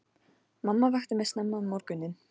Mamma vakti mig snemma um morguninn.